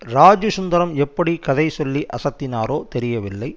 ராஜீ சுந்தரம் எப்படி கதை சொல்லி அசத்தினாரோ தெரியவில்லை